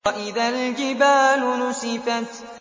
وَإِذَا الْجِبَالُ نُسِفَتْ